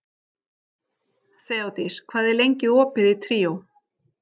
Þeódís, hvað er lengi opið í Tríó?